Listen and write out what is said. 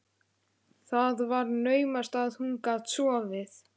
Það var naumast að hún gat sofið.